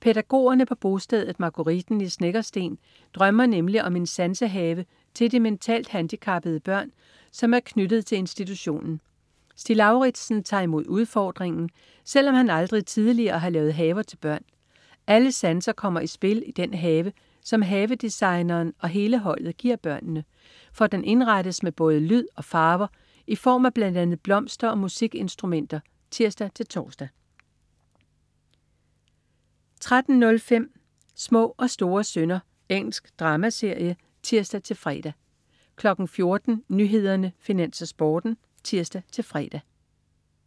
Pædagogerne på bostedet Marguritten i Snekkersten drømmer nemlig om en sansehave til de mentalt handicappede børn, som er tilknyttet institutionen. Stig Lauritsen tager imod udfordringen, selvom han aldrig tidligere har lavet haver til børn. Alle sanser kommer i spil i den have, som havedesigneren og hele holdet giver børnene, for den indrettes med både lyd og farver i form af bl.a. blomster og musikinstrumenter (tirs-tors) 13.05 Små og store synder. Engelsk dramaserie (tirs-fre) 14.00 Nyhederne, Finans, Sporten (tirs-fre)